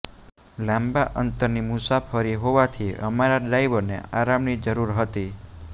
લાંબા અંતરની મુસાફરી હોવાથી અમારા ડ્રાઈવરને આરામની જરૂર હતી